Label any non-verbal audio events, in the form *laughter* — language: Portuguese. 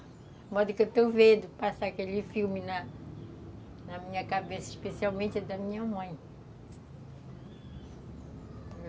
A *unintelligible* que eu estou vendo passar aquele filme na na minha cabeça, especialmente, da minha mãe.